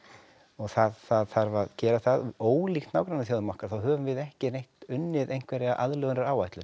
og það þarf að gera það ólíkt nágrannaþjóðum okkar þá höfum við ekki neitt unnið einhverja aðlögunaráætlun